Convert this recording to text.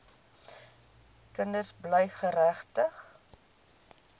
kinders bly geregtig